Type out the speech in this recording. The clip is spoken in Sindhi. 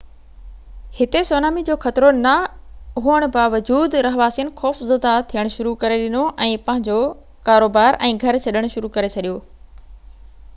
هتي سونامي جو خطرو نه هئڻ جي باوجود رهواسين خوفزده ٿيڻ شروع ڪري ڏنو ۽ پنهنجو ڪاروبار ۽ گهر ڇڏڻ شروع ڪري ڇڏيو